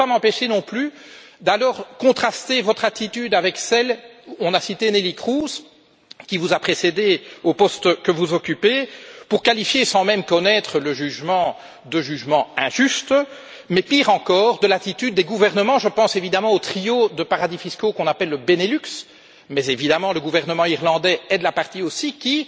Je ne peux pas m'empêcher non plus de contraster votre attitude avec celle on l'a citée de Neelie Kroes, qui vous a précédée au poste que vous occupez, qui consistait à qualifier le jugement, sans même le connaître, d'injuste, mais pire encore, avec l'attitude des gouvernements je pense évidemment au trio de paradis fiscaux qu'on appelle le Benelux, mais évidemment le gouvernement irlandais est de la partie aussi qui